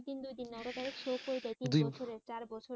দুই তিন দুই দিন হলো তাহলে হয়ে যায় দুই বছরে চার বছরের